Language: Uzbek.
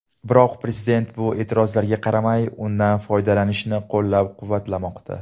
Biroq prezident bu e’tirozlarga qaramay, undan foydalanishni qo‘llab-quvvatlamoqda.